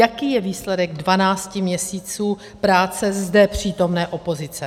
Jaký je výsledek dvanácti měsíců práce zde přítomné opozice?